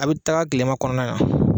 A bɛ taga tilema kɔnɔna